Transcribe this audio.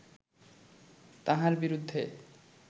তাঁহার বিরুদ্ধে